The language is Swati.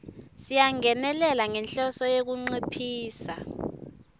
siyangenelela ngenhloso yekunciphisa